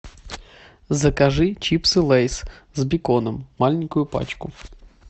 закажи чипсы лейс с беконом маленькую пачку